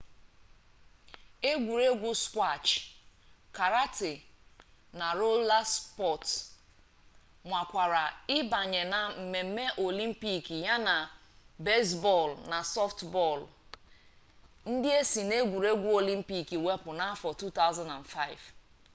egwuregwu skwash karate na rola spọts nwakwara ịbanye na mmemme olympic yana bezbọọlụ na sọftbọọlụ ndị e si n'egwuregwu olympic wepụ n'afọ 2005